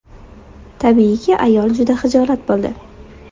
Tabiiyki, ayol juda xijolat bo‘ldi.